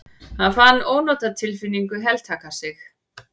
Hann fann ónotatilfinningu heltaka sig.